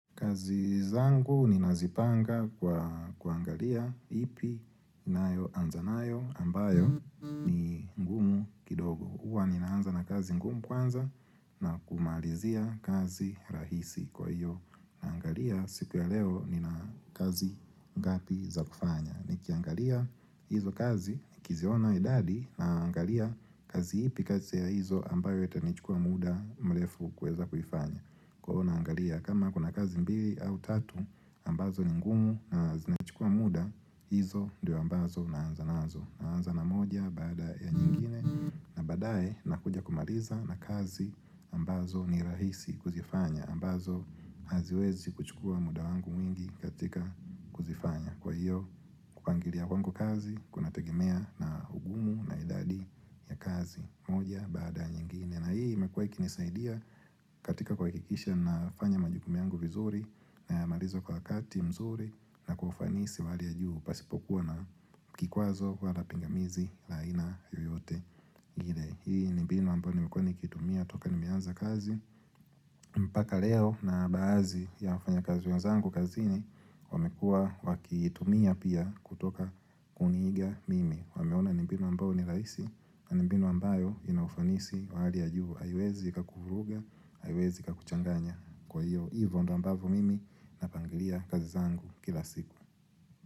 Kazi zangu ninazipanga kwa kuangalia ipi nayoanza nayo ambayo ni ngumu kidogo. Huwa ninaanza na kazi ngumu kwanza na kumalizia kazi rahisi kwa hiyo. Naangalia siku ya leo nina kazi ngapi za kufanya. Nikiangalia hizo kazi nikiziona idadi naangalia kazi ipi kati ya hizo ambayo itanichukua muda mrefu kuweza kuifanya. Kwa hivo naangalia kama kuna kazi mbili au tatu ambazo ni ngumu na zinachukua muda hizo ndio ambazo naanza nazo Naanza na moja bada ya nyingine na badaye nakuja kumaliza na kazi ambazo ni rahisi kuzifanya ambazo haziwezi kuchukua muda wangu mwingi katika kuzifanya Kwa hiyo kupangilia wangu kazi kunategemea na ugumu na idadi ya kazi moja baada ya nyingine na hii imekuwa ikinisaidia katika kuhakikisha nafanya majukumu yangu vizuri nayamaliza kwa wakati mzuri na kwa ufanisi wa hali ya juu pasipokuwa na kikwazo wala pingamizi aina yoyote ile. Hii ni mbinu ambayo nimekuwa nikitumia toka nimeanza kazi. Mpaka leo na baadhi ya wafanyakazi wenzangu kazini wamekuwa wakiitumia pia kutoka kuniiga mimi. Wameona ni mbinu ambayo ni rahisi na ni mbinu ambayo ina ufanisi wa hali ya juu, haiwezi ikakuvuruga haiwezi ikakuchanganya kwa hiyvo, hivyo ndio ambavyo mimi na pangilia kazi zangu kila siku.